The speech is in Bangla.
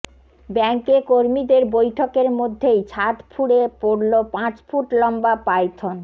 ব্যাঙ্কে কর্মীদের বৈঠকের মধ্যেই ছাদ ফুঁড়ে পড়ল পাঁচ ফুট লম্বা পাইথন